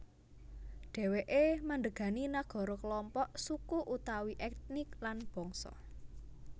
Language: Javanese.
Dhèwèké mandhégani nagara kelompok suku utawi ètnik lan bangsa